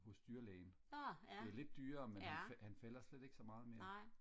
hos dyrlægen det er lidt dyrere men han fælder slet ikke så meget mere